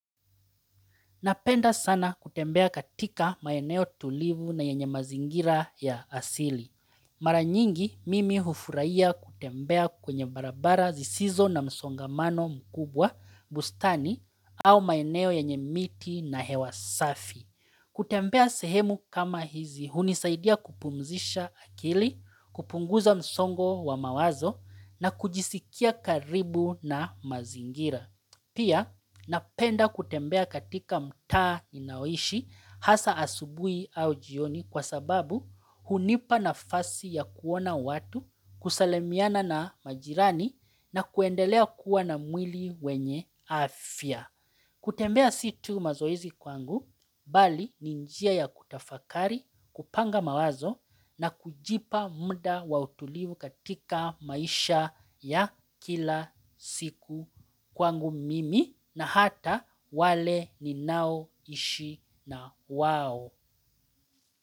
Napenda sana kutembea katika maeneo tulivu na yenye mazingira ya asili. Mara nyingi mimi hufuraiya kutembea kwenye barabara zisizo na msongamano mkubwa, bustani au maeneo yenye miti na hewa safi. Kutembea sehemu kama hizi hunisaidia kupumzisha akili, kupunguza msongo wa mawazo na kujisikia karibu na mazingira. Pia napenda kutembea katika mtaa ninaoishi hasa asubuhi au jioni kwa sababu hunipa nafasi ya kuona watu kusalamiana na majirani na kuendelea kuwa na mwili wenye afya. Kutembea si tu mazoizi kwangu, bali ni njia ya kutafakari, kupanga mawazo na kujipa muda wa utulivu katika maisha ya kila siku kwangu mimi na hata wale ninaoishi na wao.